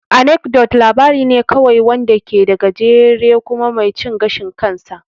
Anecdote labari ne kawai wanda ke da gajere kuma mai cin gashin kansa.